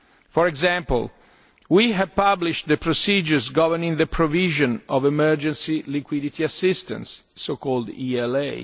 For example, we have published the procedures governing the provision of Emergency Liquidity Assistance, the so called ELA.